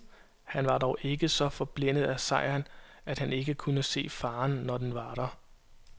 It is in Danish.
Han var dog ikke så forblændet af sejren, at han ikke kunne se faren, når den var der.